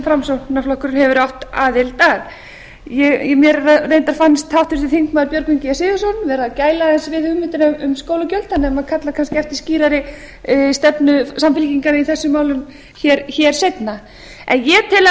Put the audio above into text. framsóknarflokkurinn hefur átt aðild að mér reyndar fannst háttvirtir þingmenn björgvin g sigurðsson vera að gæla aðeins við hugmyndir um skólagjöld þannig að maður kallar kannski eftir skýrari stefnu samfylkingarinnar í þessum málum hér seinna en ég tel að